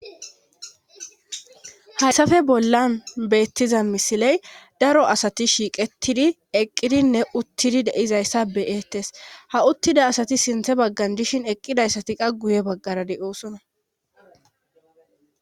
Hayssafe bollan beettiza misiley daro asati shiiqettidi eqqidinne uttidi deizayssa beyeettes ha uttida asati sinthe baggan dishin eqqidayssati qa guye baggarade oosona.